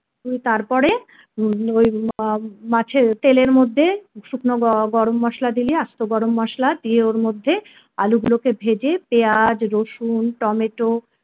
তুই তারপরে উম ওই মাছের তেলের মধ্যে শুকনো গ গরম মসলা দিলি আস্ত গরম মসলা দিয়ে ওর মধ্যে আলুগুলোকে ভেজে পেঁয়াজ রসুন টমেটো